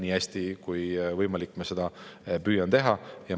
Nii hästi kui võimalik, ma püüan seda teha.